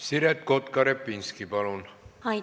Siret Kotka-Repinski, palun!